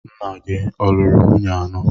Nna gị a lụrụ nwunye anọ?